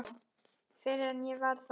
Fyrr en ég varð það.